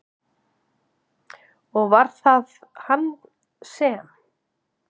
Og var það hann sem?